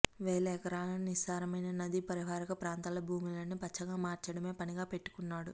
వేల ఎకరాల నిస్సారమైన నదీ పరివాహక ప్రాంతాల భూములని పచ్చగా మార్చడమే పనిగా పెట్టుకున్నాడు